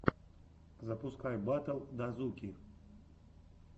запускай батл дазуки